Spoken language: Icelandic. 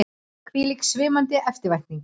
Hvílík svimandi eftirvænting!